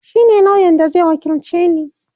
shine lauyan da Zai wakilce ni